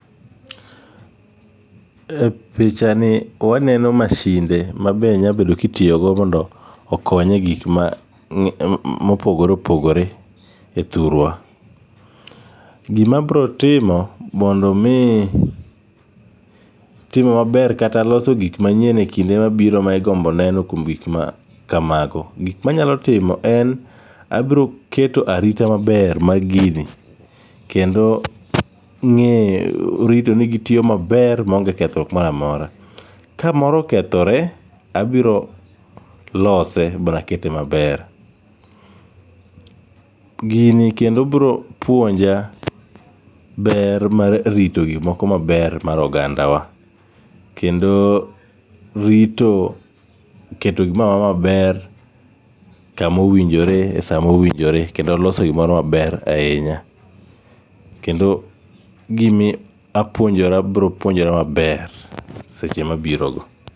E picha ni waneno masinde ma be nyalo bedo ka itiyo go mondo okony e gik ma opogore opogore e thurwa. Gima abiro timo mondo mi tim maber kata loso gik manyien ekinde mabiro ma igombo neno kuom gik makamago. Gik manyalo timo en ni abiro keto arita maber mag gini kendo ng'eyo rito ni gitiyo maber maonge kethruok moro amora. Ka moro okethore, abiro lose ma akete maber. Gini kendo biro puonja ber mar rito gik moko maber mar ogandawa. Kendo rito keto gimoro amora maber kama owinjore e saa mowinjore kendo loso gimoro maber ahinya. Kendo gimi apuonjora abiro puonjkora maber seche mabirogo.